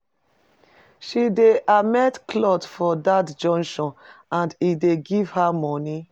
She dey amend clothe for dat junction and e dey give her moni.